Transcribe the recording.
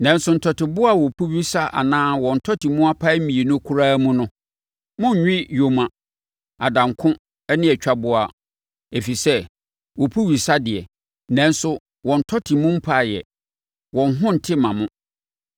Nanso, ntɔteboa a wɔpu wesa anaa wɔn tɔte mu apae mmienu koraa mu no, monnwe yoma, adanko ne atwaboa, ɛfiri sɛ, wɔpu wesa deɛ, nanso wɔn tɔte mu mpaeɛ; wɔn ho nte mma mo.